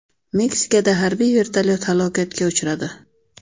Meksikada harbiy vertolyot halokatga uchradi.